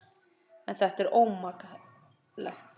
En þetta er ómaklegt.